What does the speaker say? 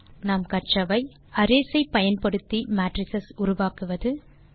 இந்த டுடோரியலில் கற்றவை 1அரேஸ் ஐ பயன்படுத்தி மேட்ரிஸ் உருவாக்குவது